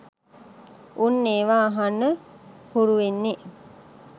උන් ඒවා අහන්න හුරු වෙන්නේ.